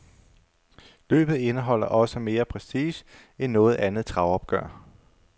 Løbet indeholder også mere prestige end noget andet travopgør.